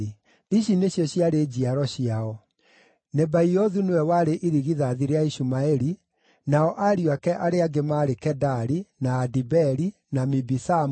Ici nĩcio njiaro ciao: Nebaiothu nĩwe warĩ irigithathi rĩa Ishumaeli, nao ariũ ake arĩa angĩ maarĩ Kedari, na Adibeeli, na Mibisamu,